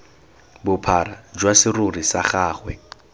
bophara jwa serori sa gagwe